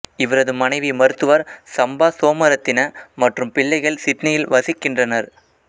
இவரது மனைவி மருத்துவர் சம்பா சோமரத்தின மற்றும் பிள்ளைகள் சிட்னியில் வசிக்கின்றனர்